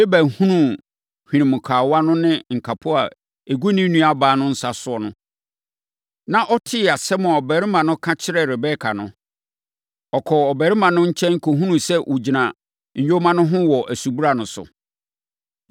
Laban hunuu hwenemukawa no ne nkapo a ɛgu ne nuabaa no nsa no, na ɔtee asɛm a ɔbarima no ka kyerɛɛ Rebeka no, ɔkɔɔ ɔbarima no nkyɛn kɔhunuu sɛ ɔgyina nyoma no ho wɔ asubura no so.